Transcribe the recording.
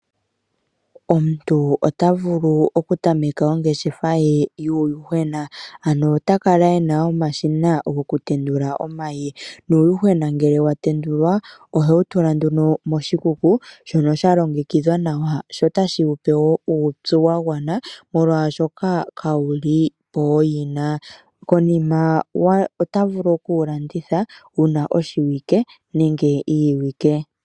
Omuntu ota vulu okutameka ongeshefa ye yuuyuhwena. Ota kala e na omashina ge gokutendula omayi. Uuyuhwena ngele wa tendulwa ohewu tula nduno moshikuku shono sha longekidhwa nawa notashi wu pe wo uupyu wa gwana, molwashoka kawu li pooyina. Konima ota vulu okuwu landitha wu na oshiwike nenge iiwike.